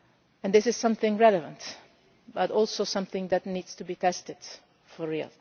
And this is something relevant, but also something that needs to be tested for real.